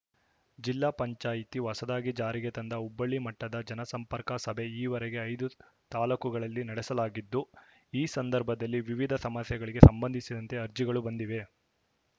ಜಿಲ್ಲಾ ಪಂಚಾಯಿತಿ ಹೊಸದಾಗಿ ಜಾರಿಗೆ ತಂದ ಹೋಬಳಿ ಮಟ್ಟದ ಜನಸಂಪರ್ಕ ಸಭೆ ಈವರೆಗೆ ಐದು ತಾಲೂಕುಗಳಲ್ಲಿ ನಡೆಸಲಾಗಿದ್ದು ಈ ಸಂದರ್ಭದಲ್ಲಿ ವಿವಿಧ ಸಮಸ್ಯೆಗಳಿಗೆ ಸಂಬಂಧಿಸಿದಂತೆ ಅರ್ಜಿಗಳು ಬಂದಿವೆ